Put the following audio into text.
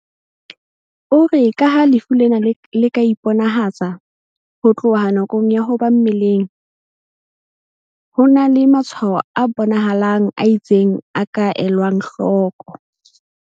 O re ka ha lefu lena le ka iponahatsa ho tloha nakong ya ho ba mmeleng, ho na le matshwaho a bona halang a itseng a ka elwang hloko.